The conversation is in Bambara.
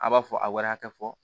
A b'a fɔ a wari hakɛ fɔ